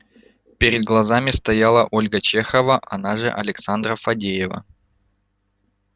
перед глазами стояла ольга чехова она же александра фадеева